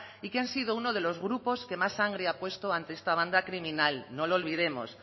y que ha sido uno de los grupos que más sangre ha puesto ante esta banda criminal no lo olvidemos